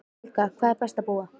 Helga: Hvar er best að búa?